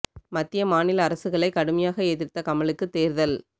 மத்திய மாநில அரசுகளை கடுமையாக எதிர்த்த கமலுக்கு தேர்தல்